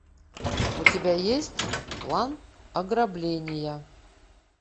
у тебя есть план ограбления